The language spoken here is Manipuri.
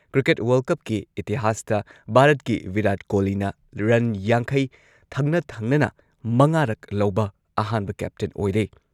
ꯀ꯭ꯔꯤꯀꯦꯠ ꯋꯔꯜꯗ ꯀꯞꯀꯤ ꯏꯇꯤꯍꯥꯁꯇ ꯚꯥꯔꯠꯀꯤ ꯚꯤꯔꯥꯠ ꯀꯣꯍꯂꯤꯅ ꯔꯟ ꯌꯥꯡꯈꯩ ꯊꯪꯅ ꯊꯪꯅꯅ ꯃꯉꯥꯔꯛ ꯂꯧꯕ ꯑꯍꯥꯟꯕ ꯀꯦꯞꯇꯦꯟ ꯑꯣꯏꯔꯦ꯫